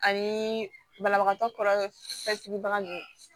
Ani banabagatɔ kɔrɔsigibaga ninnu